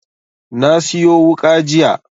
Na siyo wuƙa jiya